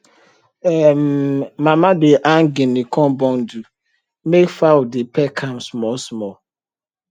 um mama dey hang guinea corn bundle make fowl dey peck am smallsmall